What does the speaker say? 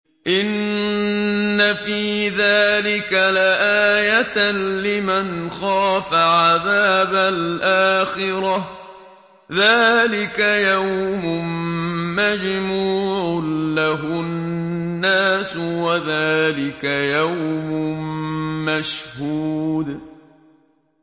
إِنَّ فِي ذَٰلِكَ لَآيَةً لِّمَنْ خَافَ عَذَابَ الْآخِرَةِ ۚ ذَٰلِكَ يَوْمٌ مَّجْمُوعٌ لَّهُ النَّاسُ وَذَٰلِكَ يَوْمٌ مَّشْهُودٌ